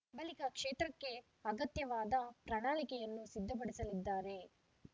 ಬಳಿಕ ಕ್ಷೇತ್ರಕ್ಕೆ ಅಗತ್ಯವಾದ ಪ್ರಣಾಳಿಕೆಯನ್ನು ಸಿದ್ಧಪಡಿಸಲಿದ್ದಾರೆ